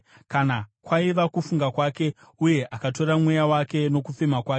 Kana kwaiva kufunga kwake, uye akatora mweya wake nokufema kwake,